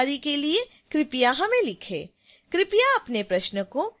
अधिक जानकारी के लिए कृपया हमें लिखें